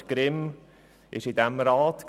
Robert Grimm war Mitglied in diesem Rat;